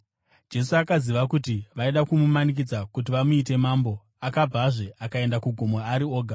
Jesu, akaziva kuti vaida kumumanikidza kuti vamuite mambo, akabvazve, akaenda kugomo ari oga.